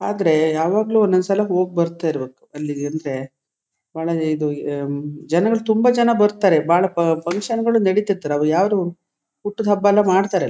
ಆದ್ರೆ ಯಾವಾಗ್ಲೂ ಒಂದ್ ಒಂದು ಸಲ ಹೋಗಿ ಬರತ್ತಿರಬೇಕು ಅಲ್ಲಿಗೆ ಅಂದ್ರೆ ಬಹಳನೇ ಇದು ಜನರು ತುಂಬಾ ಜನ ಬರತಾರೆ ಬಹಳ ಪಂಕ್ಷನ್ ನಡೆತ್ತಿತು ಅದು ಯಾವದು ಹುಟ್ಟುದ್ ಹಬ್ಬ ಎಲ್ಲ ಮಾಡ್ತ್ತರೆ ಅಲ್ಲಿ.